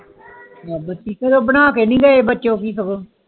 ਫੇਰ ਊ ਬਣਾ ਕੇ ਨਾਇ ਗਏ